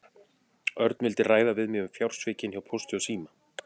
Örn vildi ræða við mig um fjársvikin hjá Pósti og síma.